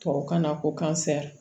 Tubabukan na ko